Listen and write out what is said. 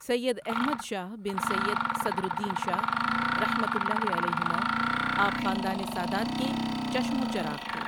سید احمد شاہ بن سید صدرالدین شاہ رحمۃ اللہ علیہما، آپ خاندان ِ ساداتِ کے چشم و چراغ تھے۔